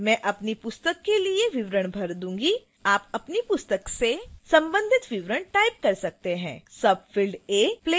अब मैं अपनी पुस्तक के लिए विवरण भर दूंगी आप अपनी पुस्तक से संबंधित विवरण type कर सकते हैं